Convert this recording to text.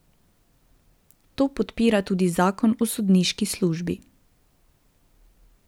To podpira tudi zakon o sodniški službi.